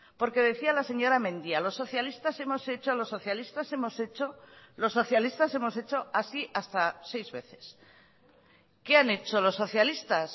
porque decía la señora mendia los socialistas hemos hecho los socialistas hemos hecho los socialistas hemos hecho así hasta seis veces qué han hecho los socialistas